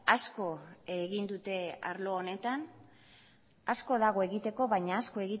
asko egin dute arlo honetan asko dago egiteko baina